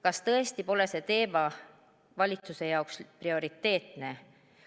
Kas tõesti pole see teema valitsuse jaoks prioriteetne?